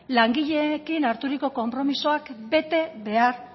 langileekin harturiko konpromisoak betebehar